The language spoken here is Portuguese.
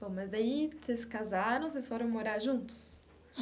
Bom, mas daí, vocês casaram, vocês foram morar juntos?